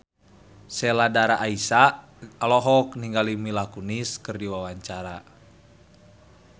Sheila Dara Aisha olohok ningali Mila Kunis keur diwawancara